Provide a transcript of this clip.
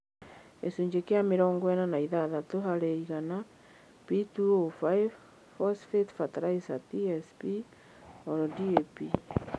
(gĩcunjĩ kĩa mĩrongo ĩna na ithathatũ harĩ iganaP2O5) phosphate fertilizers (TSP) OR DAP